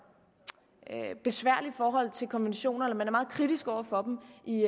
besværligt forhold til konventioner eller man er meget kritisk over for dem i